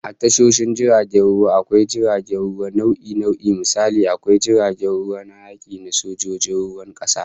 A tashoshin jiragen ruwa, akwai jiragen ruwa nau'i nau'i, misali, akwai jiragen ruwa na yaki na sojojin ruwan kasa